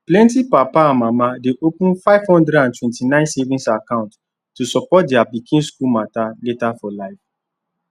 plenty papa and mama dey open 529 savings account to support their pikin school matter later for life